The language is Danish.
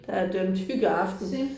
Der er d'mt hyggeaften